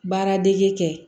Baaradege kɛ